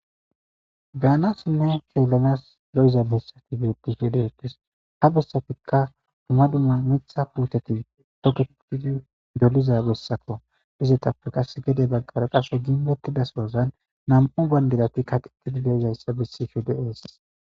Beanasinne keelonas lo7iza bessati beeti hedeetes ha bessafikka duma dumma mitha puuteti tokeotidi doliza bessako izetappe qas gede baggara qasho gimdotidasoozan nam7o bayndidati kaqqiqidi deezayssa bessi shode ees.